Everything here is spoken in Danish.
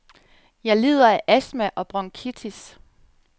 Jeg lider af astma og bronkitis.